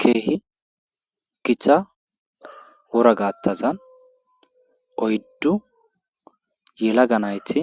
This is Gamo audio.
Keehi githa wora gaathazan oyddu yalaga nayti